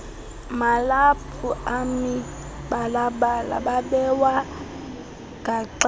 malaphu amibalabala babewagaxele